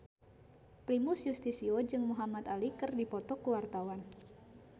Primus Yustisio jeung Muhamad Ali keur dipoto ku wartawan